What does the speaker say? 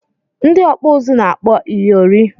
Ndị ọkpụ uzu na-akpọ ịyịọrị